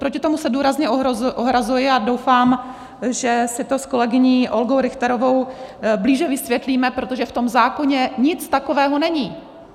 Proti tomu se důrazně ohrazuji a doufám, že si to s kolegyní Olgou Richterovou blíže vysvětlíme, protože v tom zákoně nic takového není.